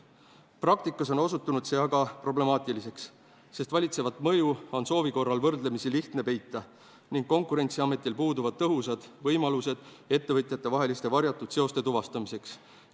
Praktikas on osutunud see aga problemaatiliseks, sest valitsevat mõju on soovi korral võrdlemisi lihtne peita ning Konkurentsiametil puuduvad tõhusad võimalused ettevõtjatevaheliste varjatud seoste tuvastamiseks.